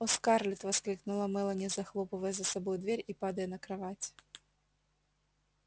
о скарлетт воскликнула мелани захлопывая за собой дверь и падая на кровать